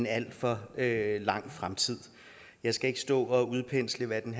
alt for lang tid jeg skal ikke stå og udpensle hvad den